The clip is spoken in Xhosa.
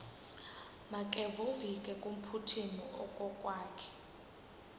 makevovike kumphuthumi okokwakhe